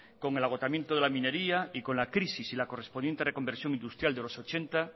con el agotamiento de la minería y con la crisis y la correspondiente reconversión industrial de los ochenta